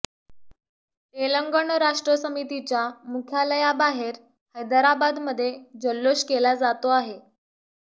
तेलंगण राष्ट्र समितीच्या मुख्यालयाबाहेर हैदराबादमध्ये जल्लोष केला जातो आहे